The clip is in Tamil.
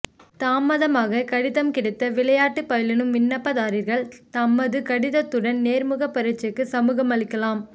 தாமதமாக கடிதம் கிடைத்த விளையாட்டு பயிலுன விண்ணப்பதாரிகள் தமது கடித்துடன் நேர்முக பரீட்சைக்கு சமூகமளிக்கலாம்